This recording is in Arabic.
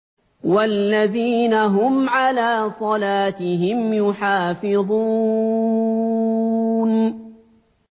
وَالَّذِينَ هُمْ عَلَىٰ صَلَاتِهِمْ يُحَافِظُونَ